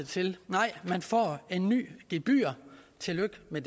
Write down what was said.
til nej man får et nyt gebyr tillykke med